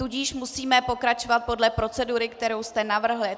Tudíž musíme pokračovat podle procedury, kterou jste navrhl.